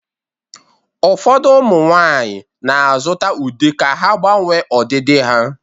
Ụfọdụ ụmụ nwanyị na-azụta ude ka ha gbanwee ọdịdị ha